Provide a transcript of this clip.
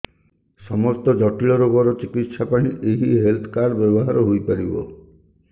ସମସ୍ତ ଜଟିଳ ରୋଗର ଚିକିତ୍ସା ପାଇଁ ଏହି ହେଲ୍ଥ କାର୍ଡ ବ୍ୟବହାର ହୋଇପାରିବ